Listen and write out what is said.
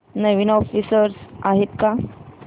नवीन offers आहेत का